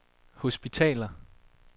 hospitaler